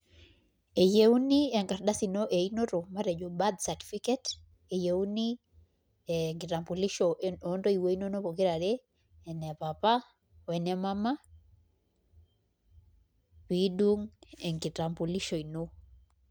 Eyieuni enkardasi ino einoto matejo birth certificate eyieuni enkitambulisho ontoiwuo inonok pokirare ene papa o ene mama pee idung' enkitambulisho ino.